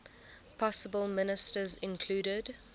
possible ministers included